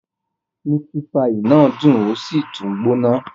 Miti paii náà dun osi tun gbona